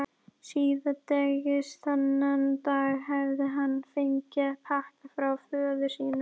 Síðdegis þennan dag hafði hann fengið pakka frá föður sínum.